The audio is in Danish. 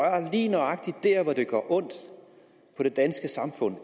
lige nøjagtig der hvor det gør ondt på det danske samfund